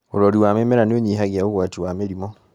ũrori wa mĩmera niũnyihagia ũgwati wa mĩrimũ.